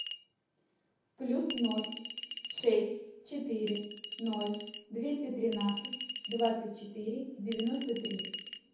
плюс ноль шесть четыре ноль двести тринадцать двадцать четыре девяносто три